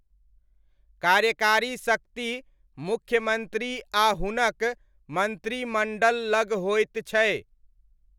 कार्यकारी शक्ति मुख्यमन्त्री आ हुनक मन्त्रिमण्डल लग होइत छै।